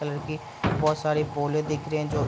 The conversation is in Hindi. कलर की बहुत सारी पोले दिख रही है जो --